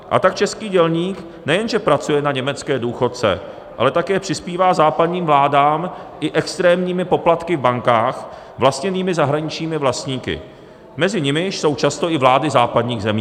A tak český dělník nejenže pracuje na německé důchodce, ale také přispívá západním vládám i extrémními poplatky v bankách vlastněných zahraničními vlastníky, mezi nimiž jsou často i vlády západních zemí.